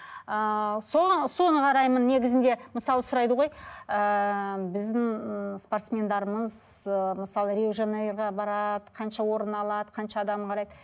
ыыы соған соны қараймын негізінде мысалы сұрайды ғой ыыы біздің спортсмендеріміз ыыы мысалы рио де жанейроға барады қанша орын алады қанша адам қарайды